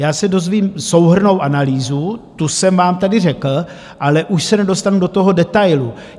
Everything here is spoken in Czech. Já se dozvím souhrnnou analýzu, tu jsem vám tady řekl, ale už se nedostanu do toho detailu.